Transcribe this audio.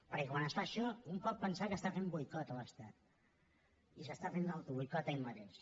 perquè quan es fa això un pot pensar que està fent boicot a l’estat i s’està fent l’autoboicot a ell mateix